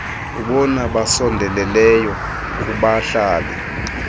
abona basondeleyo kubahlali